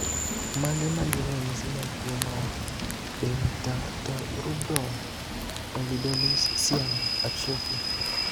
Mage magin ranyisi mag tuo mar Dentatorubral pallidoluysian atrophy?